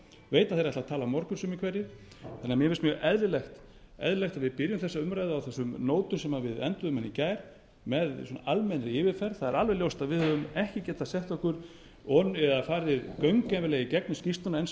veit að þeir ætla að tala á morgun sumir hverjir þannig að mér finnst eðlilegt að við byrjum þessa umræðu á þessum nótum sem við enduðum hana í gær með almennri yfirferð það er alveg ljóst að við höfum ekki getað farið gaumgæfilega yfir skýrsluna enn sem